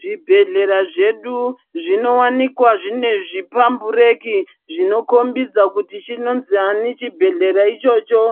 Zvibhedhlera zvedu zvinowanikwa zvine zvipambureki zvinokombidza kuti chinonziani chibhedhlera ichocho,